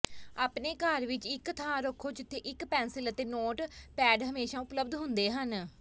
ਆਪਣੇ ਘਰ ਵਿਚ ਇਕ ਥਾਂ ਰੱਖੋ ਜਿੱਥੇ ਇਕ ਪੈਨਸਿਲ ਅਤੇ ਨੋਟਪੈਡ ਹਮੇਸ਼ਾ ਉਪਲਬਧ ਹੁੰਦੇ ਹਨ